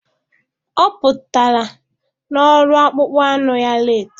Ọ pụtara na ọrụ akpụkpọ anụ ya leetị